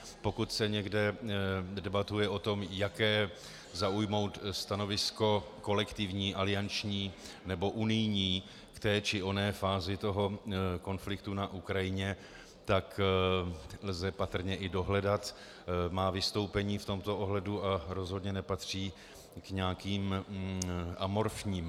Pokud se někde debatuje o tom, jaké zaujmout stanovisko kolektivní, alianční nebo unijní k té či oné fázi toho konfliktu na Ukrajině, tak lze patrně i dohledat má vystoupení v tomto ohledu a rozhodně nepatří k nějakým amorfním.